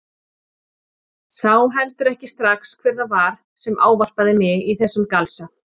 Sá heldur ekki strax hver það var sem ávarpaði mig í þessum galsa.